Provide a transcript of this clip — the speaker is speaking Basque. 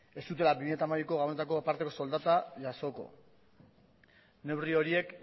ez zutela bi mila hamabiko gabonetako parteko soldata jasoko neurri horiek